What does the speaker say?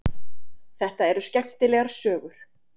Þetta eru skemmtilegar sögur.